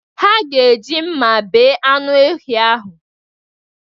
Ha ga-eji mma bee anụ ehi ahụ.